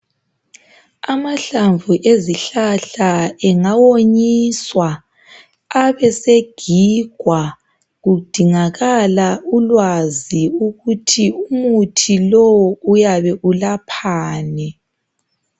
Amahlamvu ezihlahla engawonyiswa abesegigwa kudingakala ulwazi ukuthi umuthi lowu uyabe ulaphani.